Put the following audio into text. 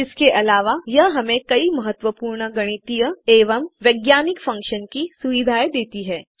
इसके अलावा यह हमें कई महत्वपूर्ण गणितीय एवं वैज्ञानिक फंक्शन्स की सुविधा देती है